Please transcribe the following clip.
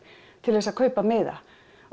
til þess að kaupa miða